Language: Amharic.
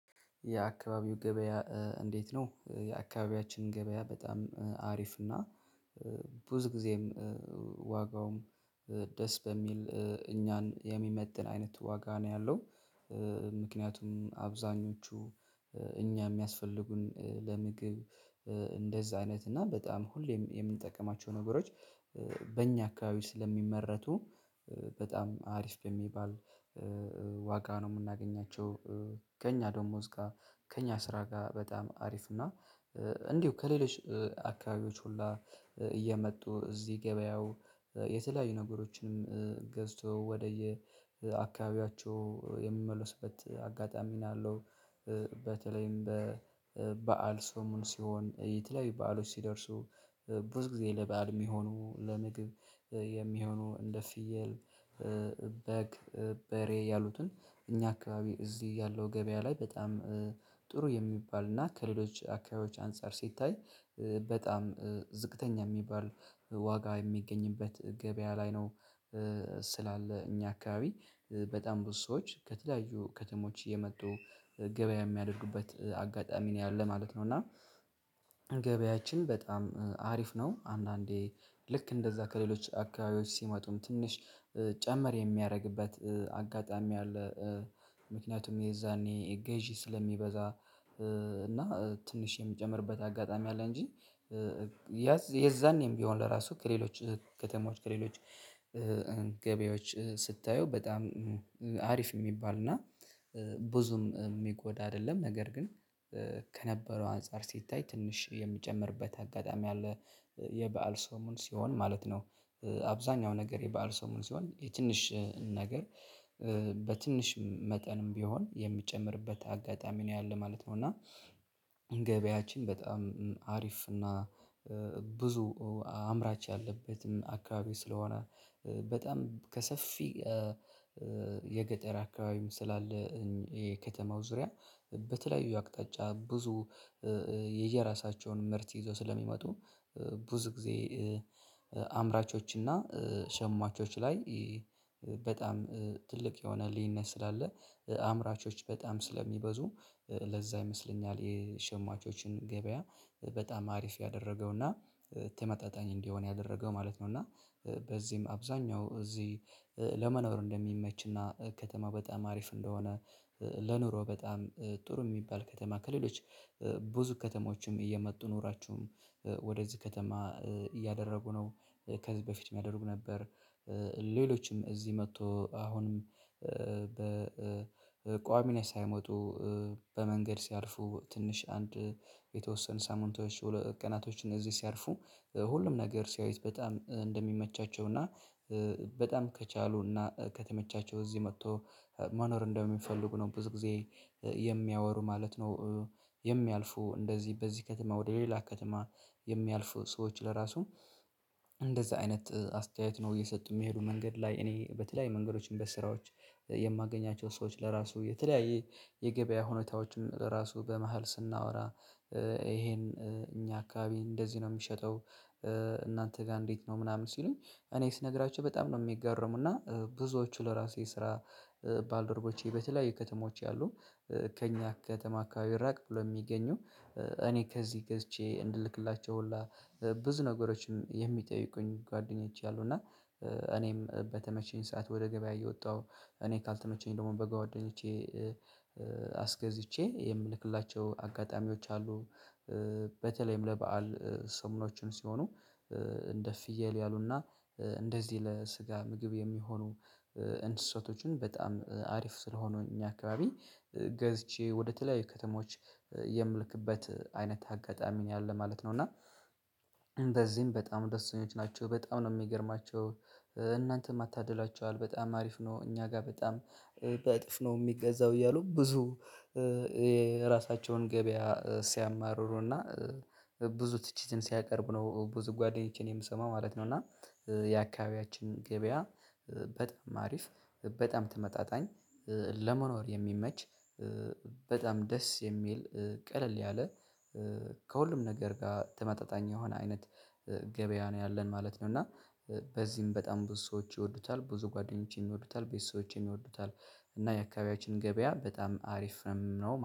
የአካባቢው ገበያ? እንዴት ነው የአካባቢያችን ገበያ በጣም አሪፍ እና ብዙ ጊዜም ዋጋውም ደስ በሚል እኛን የሚመጥን አይነት ዋጋ ነው ያለው። ምክንያቱም አብዛኞቹ እኛ የሚያስፈልጉን ለምግብ እንደዛ አይነት እና በጣም ሁሌ የምንጠቀማቸው ነገሮች በእኛ አካባቢ ስለሚመረቱ በጣም አሪፍ በሚባል ዋጋ ነው የምናገኛቸው። ከእኛ ደግሞ እስከ ከእኛ ስራ ጋር በጣም አሪፍ እና እንዲሁ ከሌሎች አካባቢዎች ሁላ እየመጡ እዚህ ገበያው የተለያዩ ነገሮችንም ገዝቶ ወደየ አካባቢያቸው የምመለሱበት አጋጣሚ ነው ያለው። በተለይም በበዓል ሰሞን ሲሆን የትለያዩ በዓሎች ሲደርሱ ብዙ ጊዜ ለበአል የሚሆኑ ለምግብ የሚሆኑ እንደ ፍየል በግ በሬ ያሉትን እኛ አካባቢ እዚህ ያለው ገበያ ላይ በጣም ጥሩ የሚባል እና ከሌሎች አካባቢዎች አንፃር ሲታይ በጣም ዝቅተኛ የሚባል ዋጋ የሚገኝበት ገበያ ላይ ነው። ስላለ እኛ አካባቢ በጣም ብዙ ሰዎች ከተለየዩ ከተሞች እየመጡ ገበያ የሚያደርጉበት አጋጣሚ ነው ያለው ማለት ነው። እና ገበያችን በጣም አሪፍ ነው። አንዳንዴ ልክ እንደዛ ከሌሎች አካባቢዎች ሲመጡ ትንሽ ጨመር የሚያደርግበት አጋጣሚ አለ። ምክንያቱም የዛኔ ገዢ ስለሚበዛ እና ትንሽ የሚጨምርበት አጋጣሚ አለ። እንጂ የዛኔም ቢሆን ለራሱ ከሌሎች ከተማዎች ከሌሎች ገበያዎች ስታየው በጣም አሪፍ የሚባል እና ብዙም የሚጎዳ አይደለም። ነገር ግን ከነበረው አንፃር ሲታይ ትንሽ የሚጨምርበት አጋጣሚ አለ የበአል ሰሞን ሲሆን ማለት ነው። አብዛኛው ነገር የበአል ሰሞን ሲሆን የትንሽ ነገር በትንሽ መጠንም ቢሆን የሚጨምርበት አጋጣሚ ነው ያለው ማለት ነው። እና ገበያችን በጣም አሪፍ እና ብዙ አምራች ያለበትን አካባቢ ስለሆነ በጣም ከሰፊ የገጠር አካባቢም ስላለ የከተማው ዙሪያ በተለያዩ አቅጣጫ ብዙ የየራሳቸውን ምርት ይዞ ስለሚመጡ ብዙ ጊዜ አምራቾችና ሸማቾች ላይ በጣም ትልቅ የሆነ ልዩነት ስላለ አምራቾች በጣም ስለሚበዙ ለዛ ይመስለኛል የሸማቾችን ገበያ በጣም አሪፍ ያደረገውና ተመጣጣኝ እንዲሆን ያደረገው ማለት ነው። እና በዚህም አብዛኛው እዚህ ለመኖር እንደሚመችና ከተማ በጣም አሪፍ እንደሆነ ለኑሮ በጣም ጥሩ የሚባል ከተማ ከሌሎች ብዙ ከተሞችም እየመጡ ኑሮቸውን ወደዚህ ከተማ እያደረጉ ነው። ከዚህ በፊትም ያደርጉ ነበር። ሌሎችም እዚህ መጥቶ አሁንም በቋሚነት ሳይመጡ በመንገድ ሲያልፉ ትንሽ አንድ የተወሰኑ ሳምንቶች ቀናቶች እነዚህ ሲያልፉ ሁሉም ነገር ሲያዩት በጣም እንደሚመቻቸው እና በጣም ከቻሉ እና ከተመቻቸው እዚህ መጥተው መኖር እንደሚፈልጉ ነው ብዙ ጊዜ የሚያወሩት ማለት ነው። የሚያልፉ እንደዚህ በዚህ ከተማ ወደ ሌላ ከተማ የሚያልፉ ሰዎች ለራሱ እንደዛ አይነት አስተያየት ነው እየሰጡ የሚሄዱ መንገድ ላይ እኔ በተለያዩ መንገዶች በስራዎች የማገኛቸው ሰዎች ለራሱ የተለያየ የገበያ ሁኔታዎችን በራሱ በመሃል ስናወራ ይሄን እኛ አካባቢ እንደዚህ ነው የሚሸጠው። እናንተ ጋር እንዴት ነው ምናምን ሲሉኝ እኔ ስነግራቸው በጣም ነው የሚገረሙት። እና ብዙዎቹ ለራሴ ስራ ባልደርቦቼ በተለያዩ ከተሞች ያሉ ከእኛ ከተማ አካባቢ ራቅ ብሎ የሚገኙ እኔ ከዚህ ገዝቼ እንድልክላቸው ሁላ ብዙ ነገሮችን የሚጠይቁኝ ጓደኞቼ አሉ። እና እኔም በተመቸኝ ሰዓት ወደ ገበያ እየወጣሁ እኔ ካልተመቸኝ ደግሞ በጓደኞቼ አስገዝቼ የምልክላቸው አጋጣሚዎች አሉ። በተለይም ለበአል ሰሞኖችም ሲሆኑ እንደ ፍየል ያሉና እንደዚህ ለስጋ ምግብ የሚሆኑ እንስሳቶችን በጣም አሪፍ ስለሆኑ እኛ አካባቢ ገዝቼ ወደተለያዩ ከተሞች የምልክበት አይነት አጋጣሚ ነው ያለው ማለት ነው። እና ነው እና እንደዚህም በጣም ደስተኞች ናቸው በጣም ነው የሚገርማቸው። እናንተማ ታድላችዋል በጣም አሪፍ ነው እኛ ጋር በጣም በእጥፍ ነው የሚገዛው እያሉ ብዙ የራሳቸውን ገበያ ሲያማርሩና ብዙ ትችትን ሲያቀርብ ነው ብዙ ጓደኞቼን የምሰማው ማለት ነው። እና የአካባቢያችን ገበያ በጣም አሪፍ በጣም ተመጣጣኝ ለመኖር የሚመች በጣም ደስ የሚል ቀለል ያለ ከሁሉም ነገር ጋር ተመጣጣኝ የሆነ አይነት ገበያ ነው ያለን ማለት ነው። እና በዚህም በጣም ብዙ ሰዎች ይወዱታል ብዙ ጓደኞቼም ይወዱታል ቤተሰቦችም ይወዱታል። እና የአካባቢያችን ገበያ በጣም አሪፍ ነው።